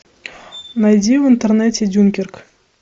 найди в интернете дюнкерк